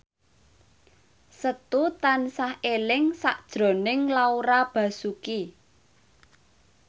Setu tansah eling sakjroning Laura Basuki